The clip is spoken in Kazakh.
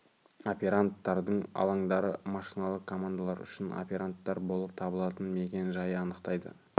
операндтардың алаңдары машиналық командалар үшін операндтар болып табылатын мекен-жайы анықтайды